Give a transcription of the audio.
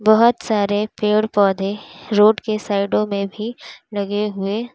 बहोत सारे पेड़ पौधे रोड के साइडों में भी लगे हुए--